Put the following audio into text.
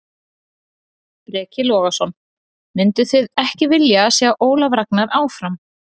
Breki Logason: Mynduð þið ekki vilja sjá Ólaf Ragnar áfram?